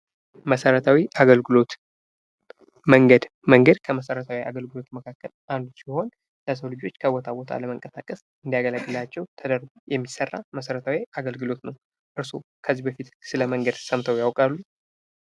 መሰረታዊ አገልግሎት፦ መንገድ መንገድ ከመሰረታዊ አገልግሎት መካከል ለሰው ልጆች ከቦታ ቦታ ለመንቀሳቀስ የሚያገለግላቸው ተደርጎ የሚሰራ አገልግሎት ነው። እርስዎ ከዚህ በፊት ስለመንገድ ሰምተው ያቃሉ?